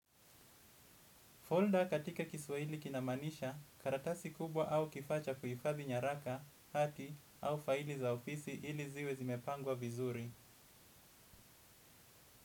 Folder katika kiswaili kinamaanisha karatasi kubwa au kifaa cha kuhifadhi nyaraka hathi au faili za ofisi ili ziwe zimepangwa vizuri.